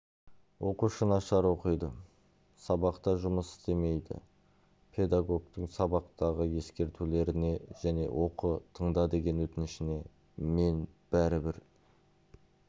оқушы нашар оқиды сабақта жұмыс істемейді педагогтың сабақтағы ескертулеріне және оқы тыңда деген өтінішіне мен бәрібір